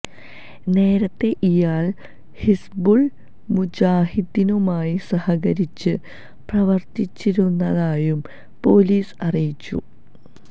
നേരത്തെ ഇയാള് ഹിസ്ബുള് മുജാഹിദ്ദീനുമായി സഹകരിച്ച് പ്രവര്ത്തിച്ചിരുന്നതായും പോലീസ് അറിയിച്ചു